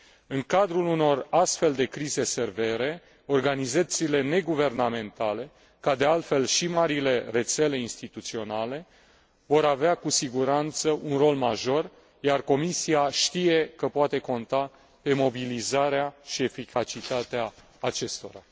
În cadrul unor astfel de crize severe organizațiile neguvernamentale ca, de altfel, și marile rețele instituționale vor avea cu siguranță un rol major, iar Comisia știe că poate conta pe mobilizarea și eficacitatea acestora.